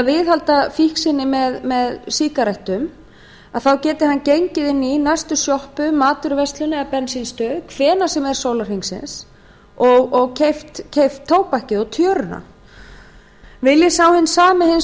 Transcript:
viðhalda fíkn sinni með sígarettum þá geti hann gengið inn í næstu sjoppu matvöruverslun eða bensínstöð hvenær sem er sólarhringsins og keypt tóbakið og tjöruna vilji sá hinn sami hins